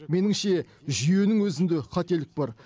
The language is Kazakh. меніңше жүйенің өзінде қателік бар